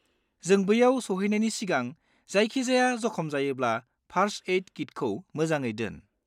जों बैयाव सौहैनायनि सिगां जायखिजाया जखम जायोब्ला फार्स्ट-एइड किटखौ मोजाङै दोन।